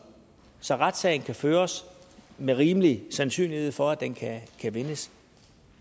så retssagen kan føres med rimelig sandsynlighed for at den kan vindes